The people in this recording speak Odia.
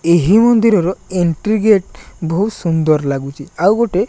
ଏହି ମନ୍ଦିରର ଏଣ୍ଟ୍ରି ଗେଟ ବହୁତ ସୁନ୍ଦର ଲାଗୁଚି ଆଉ ଗୋଟେ --